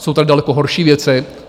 Jsou tady daleko horší věci.